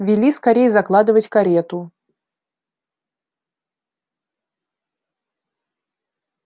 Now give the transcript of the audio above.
вели скорей закладывать карету